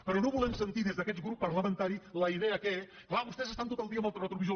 però no volem sentir des d’aquest grup parlamentari la idea que clar vostès estan tot el dia amb el retrovisor